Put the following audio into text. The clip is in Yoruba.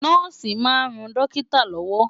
Nọ́ọ̀sì máa ń ran dókítà lọ́wọ́.